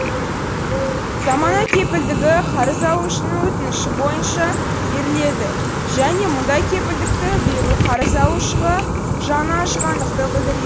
замана кепілдігі қарыз алушының өтініші бойынша беріледі және мұндай кепілдікті беру қарыз алушыға жаны ашығандықты білдіре